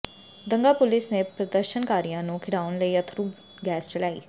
ਦੰਗਾ police ਨੇ ਪ੍ਰਦਰਸ਼ਨਕਾਰੀਆਂ ਨੂੰ ਖਿੰਡਾਉਣ ਲਈ ਅੱਥਰੂ ਗੈਸ ਚਲਾਈ